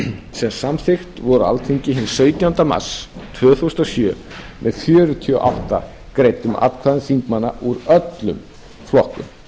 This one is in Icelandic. sem samþykkt voru á alþingi hinn sautjánda mars tvö þúsund og sjö með fjörutíu og átta greiddum atkvæðum þingmanna úr öllum flokkum